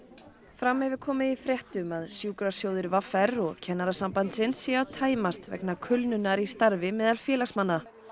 fram hefur komið í fréttum að sjúkrasjóðir v r og Kennarasambandsins séu að tæmast vegna kulnunar í starfi meðal félagsmanna